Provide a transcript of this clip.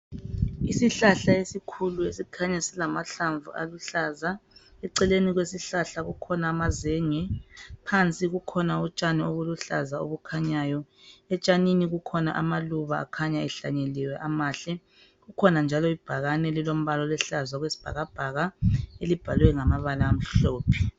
Isihlahla esikhulu esikhanya silamahlamvu aluhlaza. Eceleni kwesihlahla kukhona amazenge. Phansi kukhona utshani obuluhlaza obukhanyayo. Etshanini kukhona amaluba akhanya ehlanyeliwe amahle, kukhona njalo ibhakane elilombala oluhlaza okwesibhakabhaka, elibhalwe ngamabala amhlophe.